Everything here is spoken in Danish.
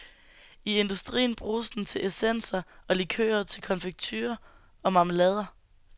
I industrien bruges den til essenser og likører, til konfekture og marmelader.